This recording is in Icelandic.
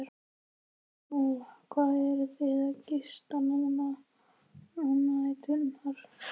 Lóa: Hvar eruð þið að gista núna á næturnar?